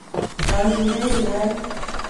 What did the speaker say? Rokin beek kirait